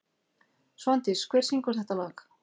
Svandís, hver syngur þetta lag?